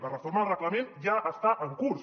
la reforma del reglament ja està en curs